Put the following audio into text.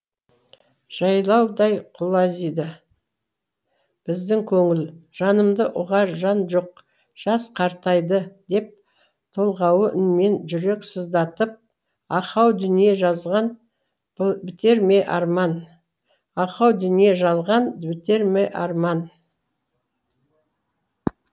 жайлаудай құлазиды біздің көңіл жанымды ұғар жан жоқ жас қартайды деп толғаулы үнмен жүрек сыздатып ахау дүние жалған бітер ме арман